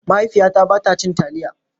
Mahaifiyata ba ta cin taliya.